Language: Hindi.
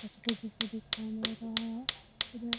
मछली जैसा दिखाई दे रहा है इधर --